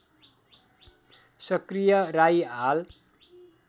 सक्रिय राई हाल